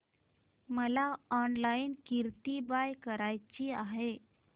मला online kurti buy करायची आहे